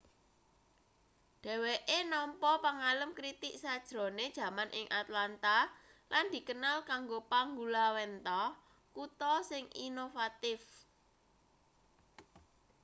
dheweke nampa pangalem kritig sajrone jaman ing atlanta lan dikenal kanggo panggulawenthah kutha sing inovatif